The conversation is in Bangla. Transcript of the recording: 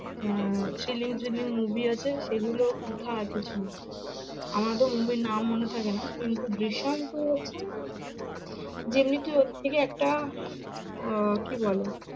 হম thrilling thrilling movie আছে, সেগুলো আর কিছু না আমার অতো movie র নাম মনে থাকে না কিন্তু জিসিম টু হচ্ছে দিল্লী road থেকে একটা আহ কি বলে